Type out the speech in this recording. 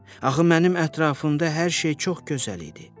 Axı mənim ətrafımda hər şey çox gözəl idi.